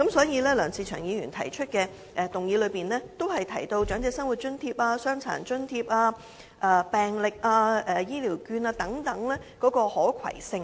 因此，梁議員的議案，均提及長者生活津貼、傷殘津貼、病歷、醫療券等的可攜性。